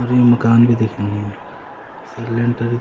अर यु मकान भी दिखेंण लग्यां स्या लिंटर --